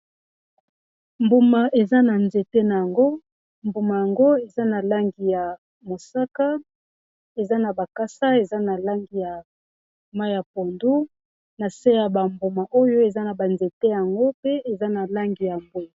mbuma eza na nzete na yango mbuma yango eza na langi ya mosaka eza na bakasa eza na langi ya ma ya pondu na se ya bambuma oyo eza na banzete yango pe eza na langi ya mbwe